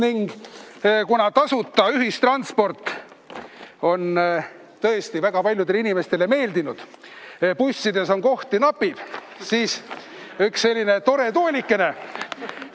Ning kuna tasuta ühistransport on tõesti väga paljudele inimestele meeldinud ja bussides kohti napib, siis üks selline tore toolikene.